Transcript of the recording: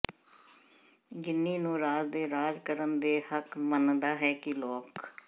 ਗਿੰਨੀ ਨੂੰ ਰਾਜ ਦੇ ਰਾਜ ਕਰਨ ਦੇ ਹੱਕ ਮੰਨਦਾ ਹੈ ਕਿ ਲੋਕ